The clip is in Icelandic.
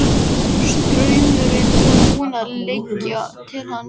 Hjálpræðisherinn hafði undanþágu og Kallinn á kassanum.